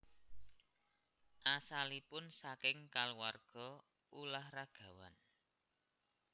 Asalipun saking kulawarga ulah ragawan